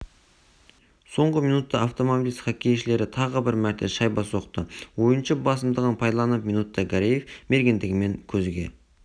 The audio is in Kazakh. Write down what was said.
соңғы минутта автомобилист хоккейшілері тағы бір мәрте шайба соқты ойыншы басымдығын пайдаланып минутта гареев мергендігімен көзге